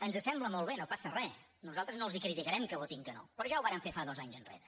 ens sembla molt bé no passa re nosaltres no els criticarem que votin que no però ja ho varen fer dos anys enrere